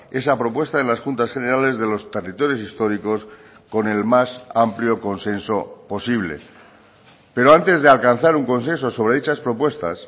esa propuesta en las juntas generales de los territorios históricos con el más amplio consenso posible pero antes de alcanzar un consenso sobre dichas propuestas